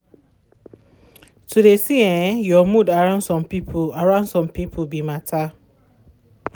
to de see um your mood around some people around some people be matter.